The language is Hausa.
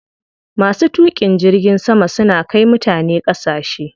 Masu tuƙin jirgin sama suna kai mutane ƙasashe.